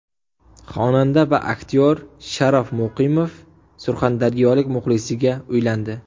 Xonanda va aktyor Sharof Muqimov surxondaryolik muxlisiga uylandi.